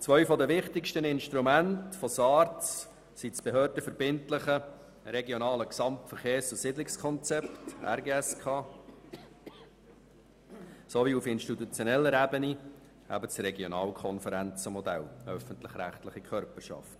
Zwei der wichtigsten Instrumente von SARZ sind das behördenverbindliche Regionale Gesamtverkehrs- und Siedlungskonzept (RGSK) sowie auf institutioneller Ebene das Regionalkonferenzmodell mit den öffentlich-rechtlichen Körperschaften.